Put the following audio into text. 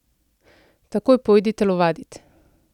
Takoj pojdi telovadit!